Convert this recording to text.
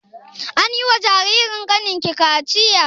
Anyi wa jaririn kanin ki kachiya?